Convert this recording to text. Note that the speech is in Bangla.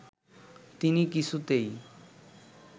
তিনি কিছুতেই